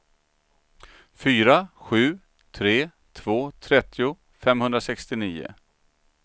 fyra sju tre två trettio femhundrasextionio